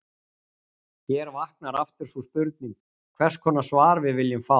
Hér vaknar aftur sú spurning, hvers konar svar við viljum fá.